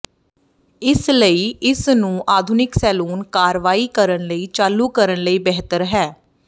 ਇਸ ਲਈ ਇਸ ਨੂੰ ਆਧੁਨਿਕ ਸੈਲੂਨ ਕਾਰਵਾਈ ਕਰਨ ਲਈ ਚਾਲੂ ਕਰਨ ਲਈ ਬਿਹਤਰ ਹੈ